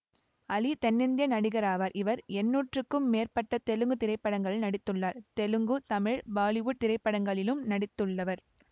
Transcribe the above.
அலி தென்னிந்திய நடிகராவார் இவர் எண்ணூறுக்கும் மேற்பட்ட தெலுங்கு திரைப்படங்களில் நடித்துள்ளார் தெலுங்குதமிழ் பாலிவுட் திரைப்படங்களிளும் நடித்துள்ளவர்